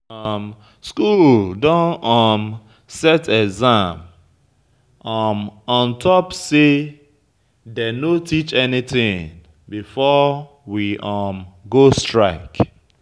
School don um set exam um on top say dey no teach anything before we um go strike